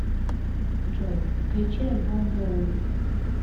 джой включи альбом боуи